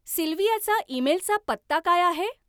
सिल्व्हियाचा ईमेलचा पत्ता काय आहे?